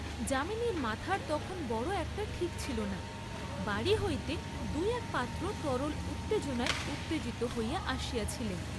যামিনীর মাথার তখন বড় একটা ঠিক ছিল না, বাড়ী হইতে দুই এক পাত্র তরল উত্তেজনায় উত্তেজিত হইয়া আসিয়াছিলেন।